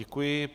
Děkuji.